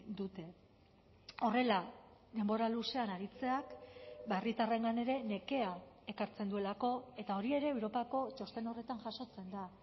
dute horrela denbora luzean aritzeak herritarrengan ere nekea ekartzen duelako eta hori ere europako txosten horretan jasotzen da